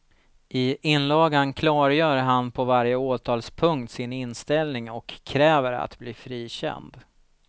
I inlagan klargör han på varje åtalspunkt sin inställning och kräver att bli frikänd.